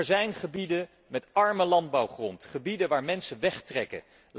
Er zijn gebieden met arme landbouwgrond, gebieden waar mensen wegtrekken.